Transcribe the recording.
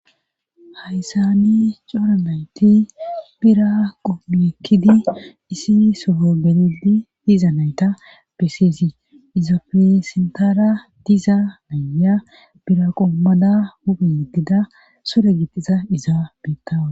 Hayssani coramayti bira qoommi ekkidi isi sogo gelidi diza nayta beseesi izofisintara diza nayya biraqoommada huphe yedgida sore gixiza izaabittawa.